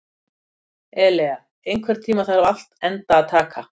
Elea, einhvern tímann þarf allt að taka enda.